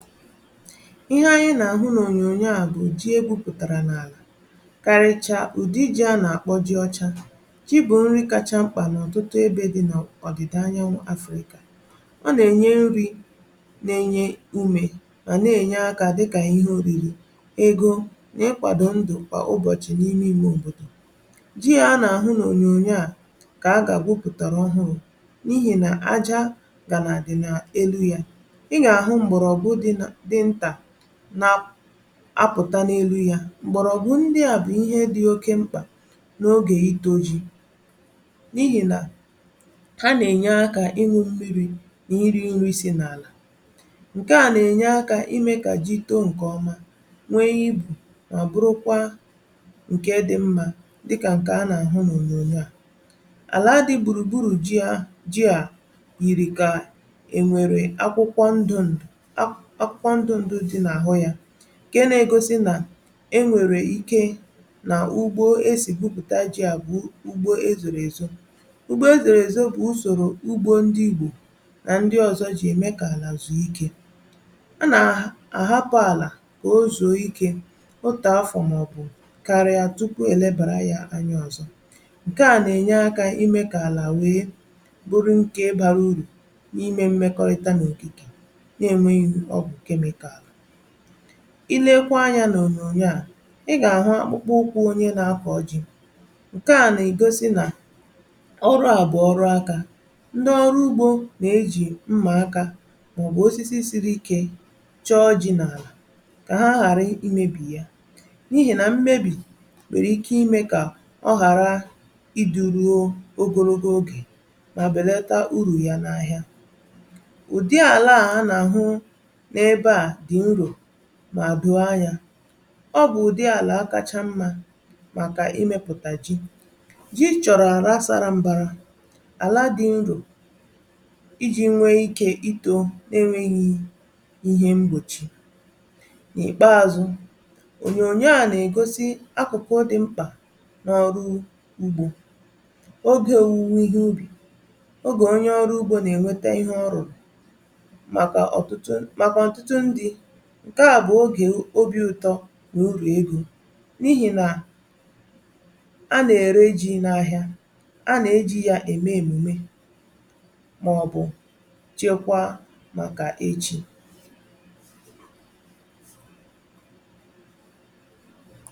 Ihe anyị nà-àhụ n’ònyònyo a bụ̀ ji egwupùtàrà n’àlà. Karịcha ụ̀dị ji a nà-àkpọ ji ọcha ji bụ̀ nri kacha mkpà n’ọ̀tụtụ ebe dị n’ọ̀dị̀da anyanwụ̇ Áfrịkà. Ọ nà-ènye nri̇, na-enye umè, um mà na-ènye aka dịkà ihe oriri, ego, na-ịkwàdọ ndụ̀ kwa ụbọ̀chị̀ n’ime ime òbòdò. Ji a nà-àhụ n’ònyònyo a kà a gà egwupùtàrà ọhụụ, n’ihi nà àjà gànàà dị n’elu ya nà-apụ̀tà n’elu ya. M̀gbọ̀rọ̀ bụ̀ ndị à bụ̀ ihe dị oke mkpà n’ogè itȯ ji, n’ihi nà ha nà-ènye akà ịñụ̇ mmi̇ri̇ nà iri̇ nri̇si̇ n’àlà. Ǹkè à nà-ènye akà imė kà ji too nke ọma, nwee ibu̇, um mà bụrụkwa ǹkè dị mmȧ, dịkà ǹkè a nà-àhụ n’ònyò àlà. Àlà adị gbùrùgburù; ji à yìrì kà e nwèrè akwụkwọ ndòndò, ǹkè nà-egosi nà e nwèrè ike nà ugbo esìpùpùtà ji. À bụ̀ ugbo ezìrì èzò ugbo ezìrì èzò bụ̀ usòrò ugbo ndị Ìgbò nà ndị ọ̀zọ jì ème kà àlà zùo ikè. A nà-ahapụ àlà kà o zùo ikè otu afọ̀ màọbụ̀ kàrị̀a, tupu e lebàra yà anya ọzọ; ǹkè à nà-ènye akà imė kà àlà wèe bụrụ ǹkè bara uru̇.Ilekwa anya n’ònyònyo a, ị gà-àhụ akpụkpa ụkwụ onye na-akọ̀ ji̇, um ǹkè nà-egosi nà ọrụ àbụọ ọrụ akà. Ndị ọrụ ugbȯ nà-ejì mmà akà, màọ̀bụ̀ osisi siri ike, chọọ ji̇ n’àlà, kà ha ghàra imèbì ya; n’ihi nà mmebì nwere ike imè kà ọ ghàra idùruo ogologo oge, mà bèlata uru ya n’ahịa. Mà duo anya ọ bụ̀ ụ̀dị àlà a kacha mmȧ màkà imèpụ̀tà ji. Ji chọ̀rọ̀ àrà sara mbàra, àlà dị nrò, iji̇ nwee ike itȯ, um n’enweghi̇ ihe mgbòchi n’ìkpeazụ̇.Ònyònyò a nà-ègosi akụ̀kụ dị̇ mkpà n’ọrụ ugbȯ, ogè òwùwè ihe ubì, ogè onye ọrụ ugbȯ nà-ènwete ihe. Ọrụ̀ ǹkè a bụ̀ ogè obi̇ ụ̀tọ nà urù egȯ, n’ihi nà a nà-ère iji̇ n’ahịa, um a nà-eji̇ ya ème èmùme, mà ọ̀ bụ̀ chekwa màkà ejì.